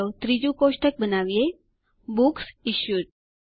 અને ચાલો ત્રીજું કોષ્ટક બનાવીએ બુક્સ ઇશ્યુડ